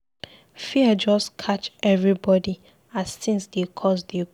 Fear just catch everybodi as tins dey cost dey go.